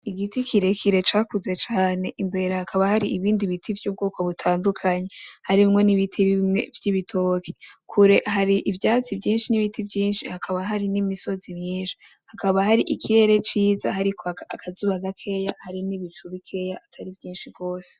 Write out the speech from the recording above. Igiti kirekire cakuze cane imbere hakaba hari ibindi biti vyubwoko butandukanye harimwo n'ibiti bimwe vy'ibitoke, kure hari ivyatsi vyinshi n'ibiti vyinshi hakaba hari n'imisozi myinshi. Hakaba hari ikirere ciza hari kwaka akazuba gakeya hari n'ibicu bikeya atari vyinshi gose.